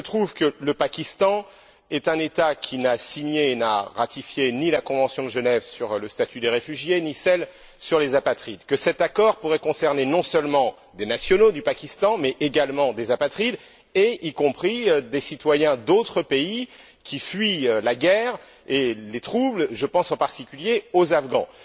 Il se trouve que le Pakistan est un État qui n'a signé, n'a ratifié ni la convention de Genève sur le statut des réfugiés, ni celle sur les apatrides, que cet accord pourrait concerner non seulement des nationaux du Pakistan, mais également des apatrides, y compris des citoyens d'autres pays qui fuient la guerre et les troubles, je pense en particuliers aux Afghans.